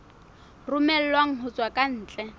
romellwang ho tswa ka ntle